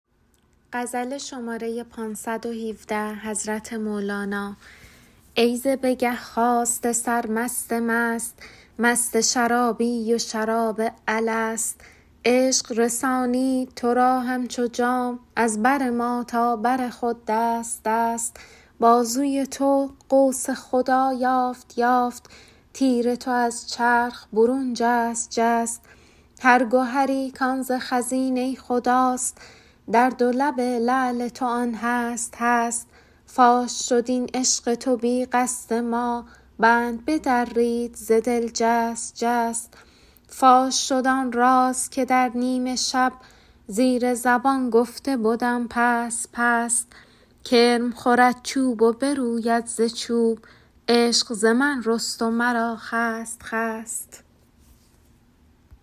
ای ز بگه خاسته سر مست مست مست شرابی و شراب الست عشق رسانید تو را همچو جام از بر ما تا بر خود دست دست بازوی تو قوس خدا یافت یافت تیر تو از چرخ برون جست جست هر گهری کان ز خزینه خداست در دو لب لعل تو آن هست هست فاش شد این عشق تو بی قصد ما بند بدرید ز دل جست جست فاش شد آن راز که در نیم شب زیر زبان گفته بدم پست پست کرم خورد چوب و بروید ز چوب عشق ز من رست و مرا خست خست